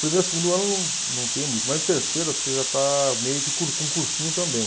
Primeiro, segundo ano não tem muito, mas no terceiro você já está meio que cur com cursinho também.